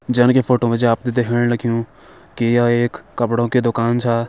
जन की फोटो मा जी आप ते देखेण लग्युं य एक कपड़ों की दुकान छा।